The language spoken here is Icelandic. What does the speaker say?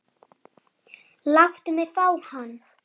Þeir eru með störu.